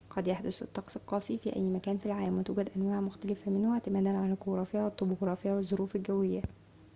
قد يحدث الطقس القاسي في أي مكان في العالم وتوجد أنواع مختلفة منه اعتمادًا على الجغرافيا والطبوغرافيا والظروف الجوية